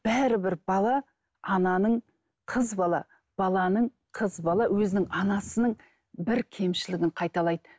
бәрібір бала ананың қыз бала баланың қыз бала өзінің анасының бір кемшілігін қайталайды